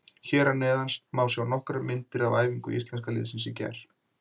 Hér að neðan má sjá nokkrar myndir af æfingu Íslenska liðsins í gær.